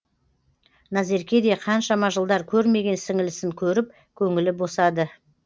назерке де қаншама жылдар көрмеген сіңілісін көріп көңілі босады